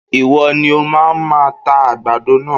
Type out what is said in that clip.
Ìwọ ni o máa máa ta àgbàdo náà.